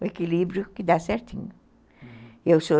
O equilíbrio que dá certinho.